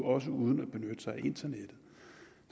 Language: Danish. også uden at benytte sig af internettet